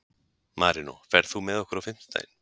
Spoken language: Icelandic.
Marinó, ferð þú með okkur á fimmtudaginn?